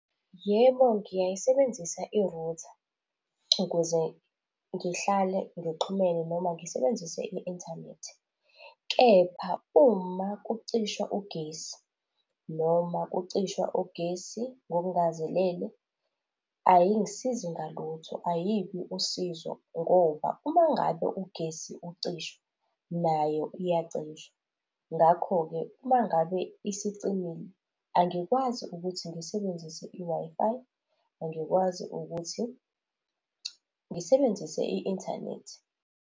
Yebo, ngiyayisebenzisa i-router ukuze ngihlale ngixhumene noma ngisebenzise i-inthanethi kepha uma kucishwa ugesi, noma kucishwa ugesi ngokungazelele ayingisizi ngalutho, ayibi usizo ngoba uma ngabe ugesi ucishwa nayo iyacisha. Ngakho-ke, uma ngabe isicimile angikwazi ukuthi ngisebenzise i-Wi-Fi, angikwazi ukuthi ngisebenzise i-inthanethi.